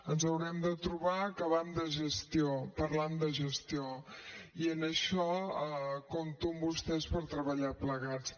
ens haurem de trobar parlant de gestió i en això compto amb vostès per treballar plegats